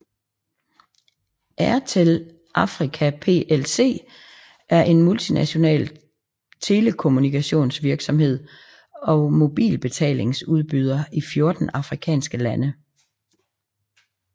Airtel Africa plc er en multinational telekommunikationsvirksomhed og mobilbetalingsudbyder i 14 afrikanske lande